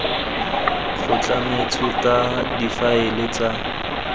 go tlametswe ka difaele tsa